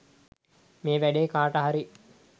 මේ වැඩේ කාට හරි